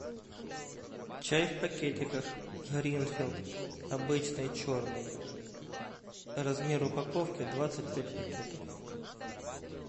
чай в пакетиках гринфилд обычный черный размер упаковки двадцать пять пакетов